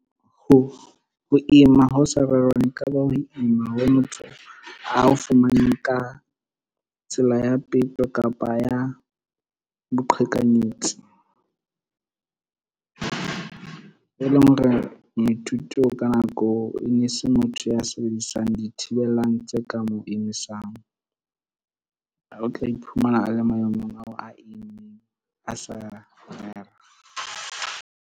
Ho ima ho sa rerwang e ka ba ho ima ha motho a fumaneng ka tsela ya peto, kapa ya boqhekanyetsi. E leng hore moithuti e ne se motho ya sebedisang dithibelang tse ka mo imisang, o tla iphumana a le maemong ao a sa .